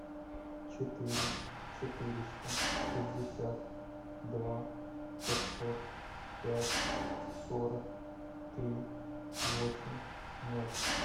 четыре четыреста шестьдесят два пятьсот пять сорок три восемь ноль